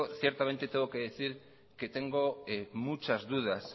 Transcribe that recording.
ciertamente tengo que decir que tengo muchas dudas